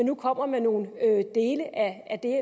nu kommer med nogle dele af af det